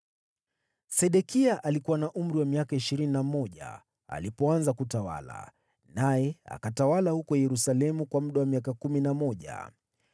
Sedekia alikuwa na umri wa miaka ishirini na mmoja alipoanza kutawala, naye akatawala huko Yerusalemu kwa miaka kumi na mmoja.